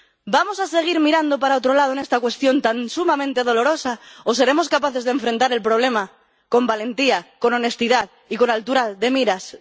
¿Vamos a seguir mirando para otro lado en esta cuestión tan sumamente dolorosa o seremos capaces de afrontar el problema con valentía, con honestidad y con altura de miras de una buena vez?